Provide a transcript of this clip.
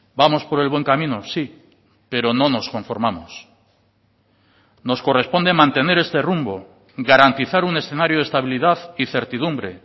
vamos por el buen camino sí pero no nos conformamos nos corresponde mantener este rumbo garantizar un escenario de estabilidad y certidumbre